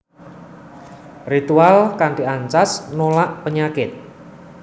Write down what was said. Ritual kanthi ancas nolak penyakit